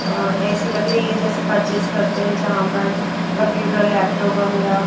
ऐसी लग रही है जैसे परचेस करते हैं जहां पर कंप्यूटर लैपटॉप वगैरह।